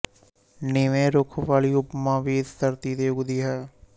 ਨੀਵੇਂ ਰੁੱਖ ਵਾਲੀ ਉਪਮਾ ਵੀ ਇਸੇ ਧਰਤੀ ਤੇ ਉਗਦੀ ਹੈ